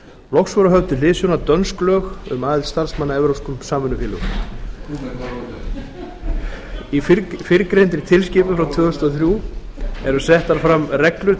loks voru höfð til hliðsjónar dönsk lög um aðild starfsmanna að evrópskum samvinnufélögum í fyrrgreindri tilskipun frá tvö þúsund og þrjú eru settar fram reglur